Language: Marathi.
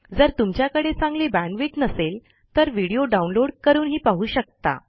जर तुमच्याकडे चांगली बॅण्डविड्थ नसेल तर व्हिडिओ डाउनलोड करूनही पाहू शकता